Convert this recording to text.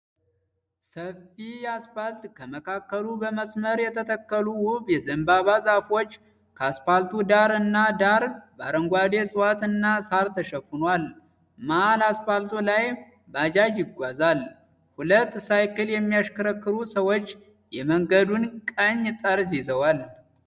ሰፊ አስፋልት ከመካከሉ በመስመር የተተከሉ ዉብ የዘንባባ ዛፎች ከአስፋልቱ ዳር እና ዳር በአረንጓዴ እፅዋት እና ሳር ተሸፍኗል። መሀል አስፋልቱ ላይ ባጃጅ ይጓዛል። ሁለት ሳይክል የሚያሽከረክሩ ሰዎች የመንገዱን ቀኝ ጠርዝ ይዘዋል።